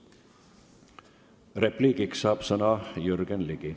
Repliigiks saab sõna Jürgen Ligi.